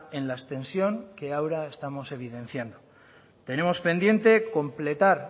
en la extensión que ahora estamos evidenciando tenemos pendiente completar